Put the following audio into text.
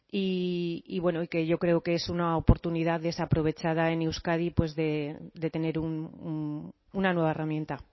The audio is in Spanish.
y bueno y que yo creo que es una oportunidad desaprovechada en euskadi de tener una nueva herramienta